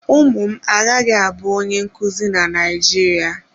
Ụmụ m agaghị abụ onye nkuzi na Naijiria.